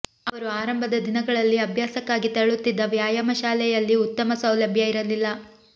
ಅವರು ಆರಂಭದ ದಿನಗಳಲ್ಲಿ ಅಭ್ಯಾಸಕ್ಕಾಗಿ ತೆರಳುತ್ತಿದ್ದ ವ್ಯಾಯಾಮ ಶಾಲೆಯಲ್ಲಿ ಉತ್ತಮ ಸೌಲಭ್ಯ ಇರಲಿಲ್ಲ